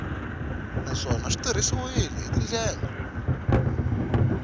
naswona swi tirhisiwile hi tindlela